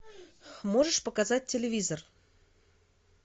можешь показать телевизор